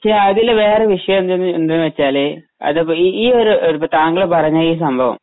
പക്ഷെ അതില് വേറെ വിഷയം എന്താ എന്താണ് വെച്ചാല് അതെ ഈ ഒരു താങ്കള് പറഞ്ഞ ഈ സംഭവം